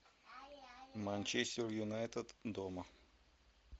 манчестер юнайтед дома